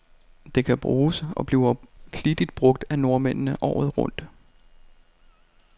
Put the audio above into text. Det kan bruges, og bliver flittigt brug af nordmændene, året rundt.